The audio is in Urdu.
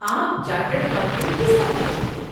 آپ چارٹرڈ اکاؤنٹنٹ کس طرح بنتے ہیں؟